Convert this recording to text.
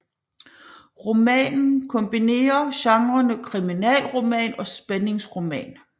Romanen kombinerer genrerne kriminalroman og spændingsroman